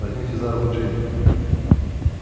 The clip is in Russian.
возьмите за руку джинни